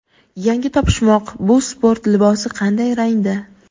Yangi topishmoq: bu sport libosi qanday rangda?.